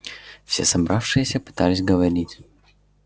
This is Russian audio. все собравшиеся пытались говорить